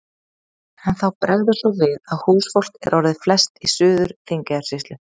En þá bregður svo við að húsfólk er orðið flest í Suður-Þingeyjarsýslu.